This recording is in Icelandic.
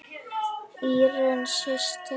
Írunn systir.